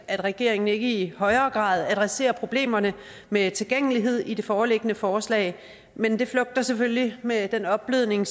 at regeringen ikke i højere grad adresserer problemerne med tilgængelighed i det foreliggende forslag men det flugter selvfølgelig med den opblødning